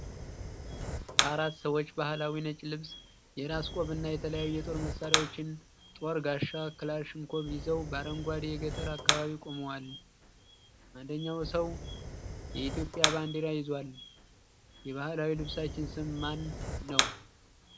አራት ሰዎች ባህላዊ ነጭ ልብስ፣ የራስ ቆብ እና የተለያዩ የጦር መሳሪያዎች (ጦር፣ ጋሻ፣ ክላሽንኮቭ) ይዘው በ አረንጓዴ የገጠር አካባቢ ቆመዋል። አንደኛው ሰው የኢትዮጵያ ባንዲራ ይዟል። የባህላዊ ልብሳቸው ስም ማን ነው?